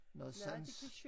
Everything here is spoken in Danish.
Noget sans